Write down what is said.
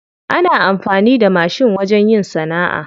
Ana amfani da mashin wajen yin sana'a.